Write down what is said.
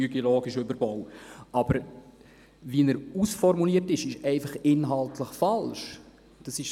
Aber wie der Vorstoss ausformuliert ist, ist inhaltlich einfach falsch.